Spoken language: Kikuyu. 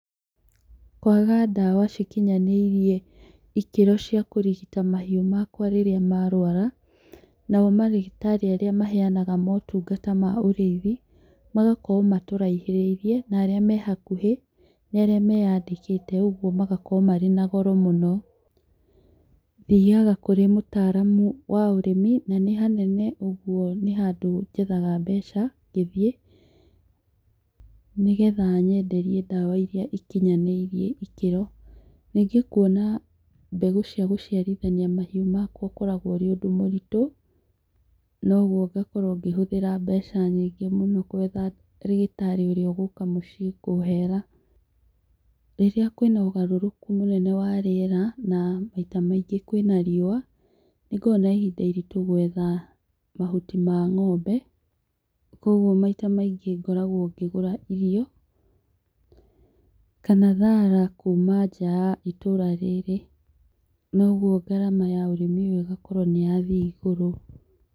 Kwaga ndawa cikinyanĩirie ikĩro cia kũrigita mahiũ makwa rĩrĩa ma rwara, nao marigĩtarĩ aria maheanaga motungata ma ũrĩthi, magakorwo matũrahĩrĩrie narĩa mehakuhĩ nĩ arĩa meyandĩkĩte ũguo magakorwo marĩ na goro mũno. Thiaga kũrĩ mũtaramu wa ũrĩmi na nĩ hanene ũguo nĩ handũ jethaga mbeca ngĩthiĩ, nĩ getha ayenderie ndawa iria ikinyanĩrie ikĩro, rĩngĩ kwona mbegũ cia gũciarithania mahiũ makwa ũkoragwo ũrĩ ũndũ mũritũ, noguo ngakorwo ngĩhũthĩra mbeca nyingĩ mũno kwetha rĩgĩtarĩ ũria gũka mũciĩ kũhera, rĩrĩa kwĩna ũgarũrũku mũnene wa rĩera na maita maingĩ kwĩna rĩũwa nĩngoragwo na ihinda iritũ gwetha mahuti ma ng'ombe, kwoguo maita maingĩ ngoragwo ngĩgũra irio, kana thara kuma nja ya itũra rĩrĩ, noguo ngarama ya ũrĩmi ũyũ ĩgakorwo nĩ yathiĩ igũrũ.